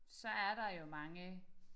Så er der jo mange